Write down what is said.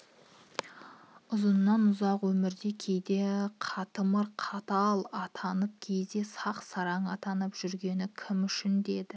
үзыннан ұзақ өмірде кейде қытымыр қатал атанып кейде сақ сараң атанып жұргені кім үшін еді